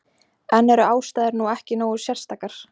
En eru aðstæður nú ekki nógu sérstakar?